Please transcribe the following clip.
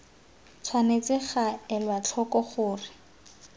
tshwanetse ga elwa tlhoko gore